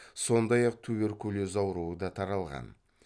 сондай ақ туберкулез ауруы да таралған